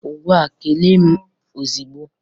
Ngwa kelee m ọzugbo!